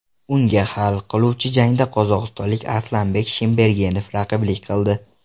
Unga hal qiluvchi jangda qozog‘istonlik Aslanbek Shimbergenov raqiblik qildi.